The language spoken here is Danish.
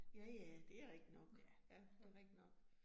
Ja ja, det rigtig nok. Ja, det rigtig nok